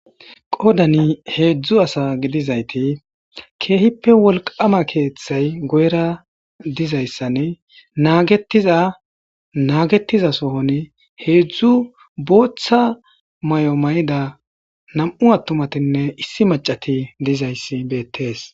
Qodani heedzdzu asa gidizayti keehippe wolqama keeththay guyera dizayssanne naagetiza naagetiza sohon heedzdzu booththa may7o may7ida nam7u attumatinne issi macati dizayssi beettees.